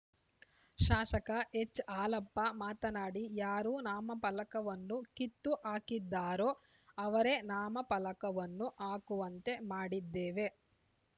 ಶಾಸಕ ಎಚ್‌ಹಾಲಪ್ಪ ಮಾತನಾಡಿ ಯಾರು ನಾಮಫಲಕವನ್ನು ಕಿತ್ತು ಹಾಕಿದ್ದರೋ ಅವರೇ ನಾಮಫಲಕವನ್ನು ಹಾಕುವಂತೆ ಮಾಡಿದ್ದೇವೆ